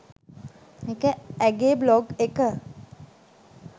ඒක ඇගේ බ්ලොග් එක